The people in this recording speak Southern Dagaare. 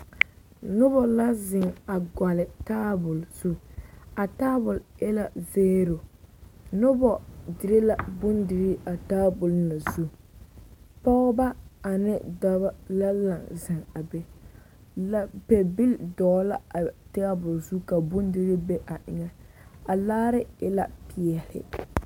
Noba la zeŋ a gɔlle taabol zu, a taabol e la zeero, noba dire la bondirii a taabol na zu, pɔgeba ane dɔbɔ la laŋ zeŋ a be, lapɛbili dɔgele a taabol zu ka bondirii be a eŋɛ, a laare e la peɛle.